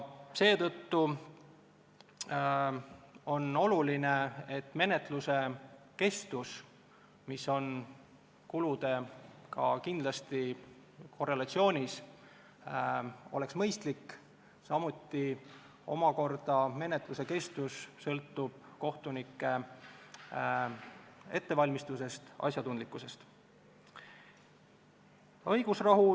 Seetõttu on oluline, et menetluse kestus, mis on kuludega kindlasti korrelatsioonis, oleks mõistlik, samuti sõltub menetluse kestus omakorda kohtunike ettevalmistusest ja asjatundlikkusest.